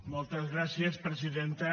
moltes gràcies presidenta